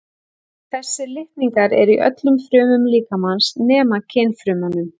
Þessir litningar eru í öllum frumum líkamans nema kynfrumunum.